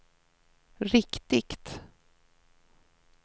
riktigt